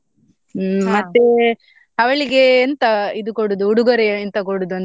ಮತ್ತೆ ಅವ್ಳಿಗೆ ಎಂತ ಇದು ಕೊಡುದು ಉಡುಗೊರೆ ಎಂತ ಕೊಡುದು ಅಂತ?